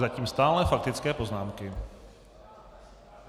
Zatím stále faktické poznámky.